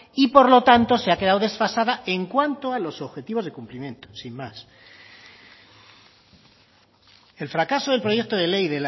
y por lo tanto se ha quedado desfasada en cuanto a los objetivos de cumplimiento sin más el fracaso del proyecto de ley